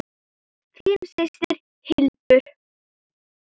Þín systir, Hildur.